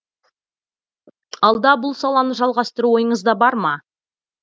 алда бұл саланы жалғастыру ойыңызда бар ма